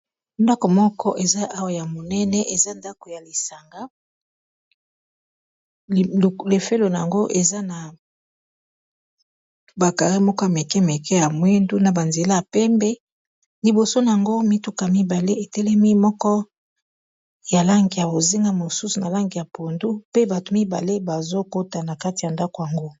Ndako moko eza awa ya monene eza ndako ya lisanga lefelo na yango eza na bakare moko ya meke meke ya mwindu na banzela ya pembe liboso na yango mituka mibale etelemi moko ya lange ya ozenga mosusu na lange ya pondu pe bato mibale bazokota na kati ya ndako yango.